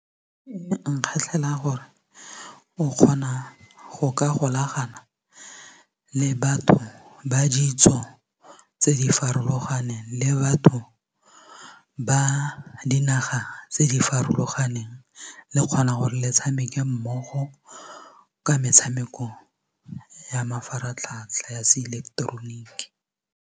E nkgatlhela gore o kgona go ka golagana le batho ba ditso tse di farologaneng le batho ba dinaga tse di farologaneng le kgona gore le tshameke mmogo ka metshameko ya mafaratlhatlha ya se ileketeroniki.